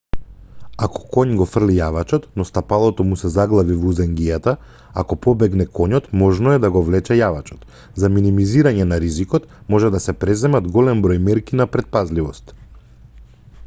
ако коњ го фрли јавачот но стапалото му се заглави во узенгијата ако побегне коњот можно е да го влече јавачот за минимизирање на ризикот може да се преземат голем број мерки на претпазливост